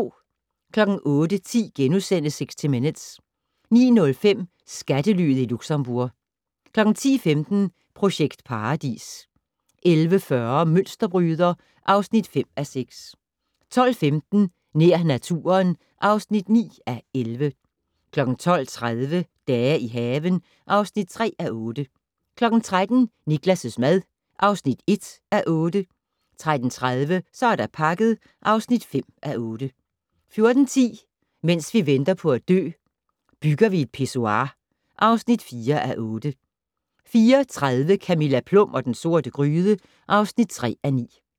08:10: 60 Minutes * 09:05: Skattelyet Luxembourg 10:15: Projekt Paradis 11:40: Mønsterbryder (5:6) 12:15: Nær naturen (9:11) 12:30: Dage i haven (3:8) 13:00: Niklas' mad (1:8) 13:30: Så er der pakket (5:8) 14:10: Mens vi venter på at dø - Bygger vi et pissoir (4:8) 14:30: Camilla Plum og den sorte gryde (3:9)